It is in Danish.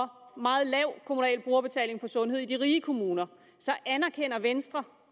meget lav kommunal brugerbetaling på sundhed i de rige kommuner så anerkender venstre